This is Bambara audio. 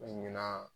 Ɲinan